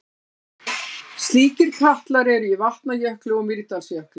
Slíkir katlar eru í Vatnajökli og Mýrdalsjökli.